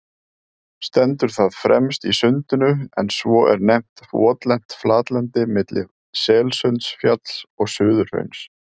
Stendur það fremst í Sundinu, en svo er nefnt votlent flatlendi milli Selsundsfjalls og Suðurhrauns.